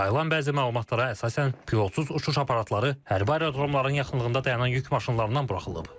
Yayılan bəzi məlumatlara əsasən pilotsuz uçuş aparatları hərbi aerodromların yaxınlığında dayanan yük maşınlarından buraxılıb.